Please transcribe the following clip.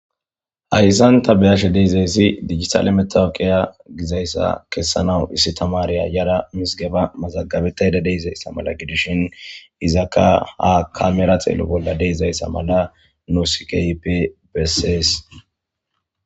Hayissanni taa be'ashshe dizayissi digatele matawuqa Gizayissa kesanawuvissi tamariya yada mizzigebba mazagabetayidda dizayissa gidishshinni izzakka ha kamera xeello bolla dizayissa mala nusi kehippe besses